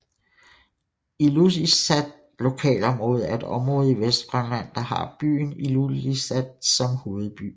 Ilulissat Lokalområde er et område i Vestgrønland der har byen Ilulissat som hovedby